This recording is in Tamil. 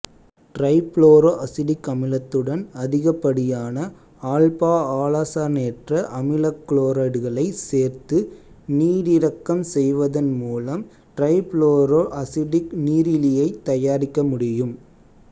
டிரைபுளோரோ அசிட்டிக் அமிலத்துடன் அதிகப்படியான ஆல்பாஆலசனேற்ற அமிலகுளோரைடுகளைச் சேர்த்து நீரிறக்கம் செய்வதன் மூலம் டிரைபுளோரோ அசிட்டிக் நீரிலியைத் தயாரிக்கமுடியும்